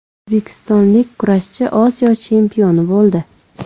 O‘zbekistonlik kurashchi Osiyo chempioni bo‘ldi.